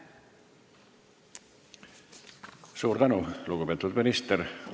Suur tänu, lugupeetud minister!